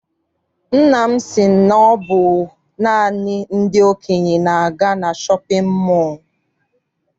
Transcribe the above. Nna m si na ọ bụ naanị ndị okenye na-aga na shọpịn mọọ.